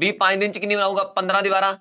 b ਪੰਜ ਦਿਨ 'ਚ ਕਿੰਨੀ ਬਣਾਊਗਾ ਪੰਦਰਾਂ ਦੀਵਾਰਾਂ